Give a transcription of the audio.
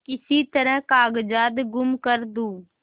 किसी तरह कागजात गुम कर दूँ